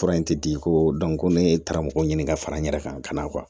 Fura in tɛ di ko ko ne taara mɔgɔ ɲini ka fara n yɛrɛ kan ka